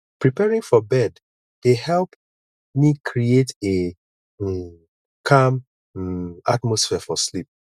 preparing for bed dey help me create a um calm um atmosphere for sleep